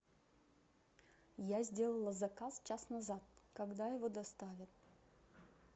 я сделала заказ час назад когда его доставят